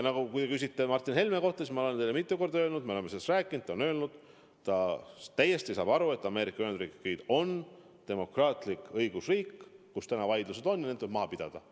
Ja kui te küsite Martin Helme kohta, siis ma olen teile mitu korda öelnud: me oleme sellest rääkinud, ta on öelnud, et ta täiesti saab aru, et Ameerika Ühendriigid on demokraatlik õigusriik, kus tuleb need vaidlused maha pidada.